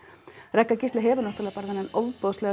Ragga Gísla hefur náttúrulega bara þennan ofboðslega